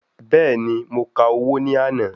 Bẹ́ẹ̀ni, mo ka owó ní àná.